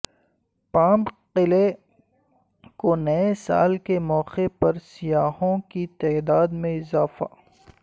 پامک قلعے کو نئے سال کے موقع پر سیاحوں کی تعداد میں اضافہ